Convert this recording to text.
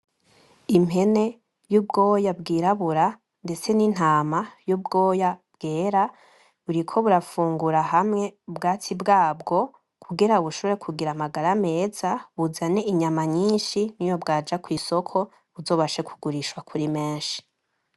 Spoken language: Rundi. Impene y'ubwoya bwirabura ndetse n'intama y'ubwoya bwera buriko burafungura hamwe ubwatsi bwabwo kugira bushobore kugira amagara meza buzane inyama nyinshi niyo bwaja kw'isoko buzobashe kugurishwa kuri menshi.